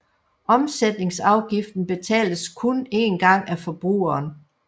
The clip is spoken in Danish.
Omsætningsafgiften betales kun en gang af forbrugeren